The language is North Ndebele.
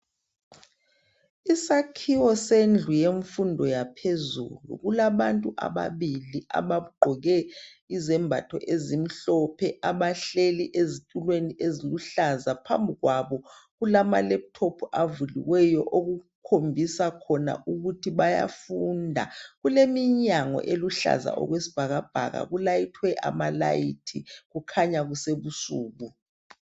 Isakhiwo sendlu yemfundo yaphezulu. Kulabantu ababili abagqoke izembatho ezimhlophe, abahleli ezitulweni eziluhlaza. Phambi kwabo kulama laptop avuliweyo okukhombisa khona ukuthi bayafunda. Kuleminyango eluhlaza okwesibhakabhaka, kulayithwe amalayithi, kukhanya kusebusuku.